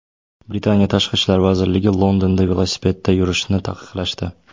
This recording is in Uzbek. Britaniya tashqi ishlar vaziriga Londonda velosipedda yurishni taqiqlashdi.